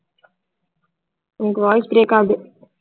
உனக்கு voice break ஆகுது